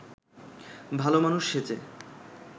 ভালমানুষ সেজে